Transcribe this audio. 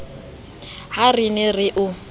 ha re ne re o